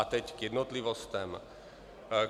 A teď k jednotlivostem.